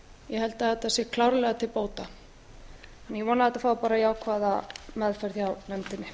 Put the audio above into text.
ég held að þetta sé klárlega til bóta ég vona að þetta fái bara jákvæða meðferð hjá nefndinni